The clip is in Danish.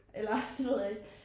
Eller det ved jeg ikke